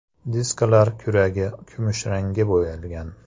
Diskalar “kuragi” kumushrangga bo‘yalgan.